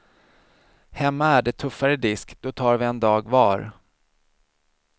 Hemma är det tuffare disk, då tar vi en dag var.